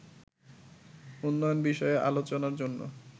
উন্নয়ন বিষয়ে আলোচনার জন্য